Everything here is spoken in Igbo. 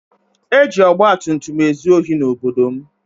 E ji ọgbatumtum ezu ohi n'obodo m.